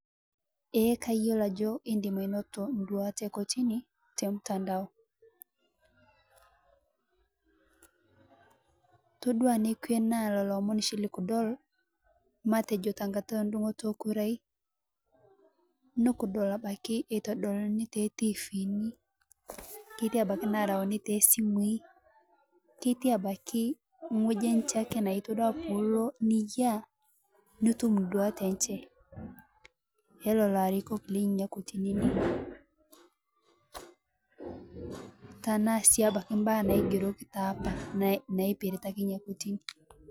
Ee kayiolo ajo indim ainoto nduat e kotini tormutandao, todua nekwe naa lolo omonshi likudol, matejo tengata e ndung'oto e kurai, nukudol abaki e todolni te tivini, keti abaki narauni te simui, keti abaki ng'oji enje ake naa todua payie ilo niyia nitum nduat enje, e lolo arikok lenenenia kotinini, tanaa sii abaki mbaa naigeroki taapa naipirita ake nia kotini.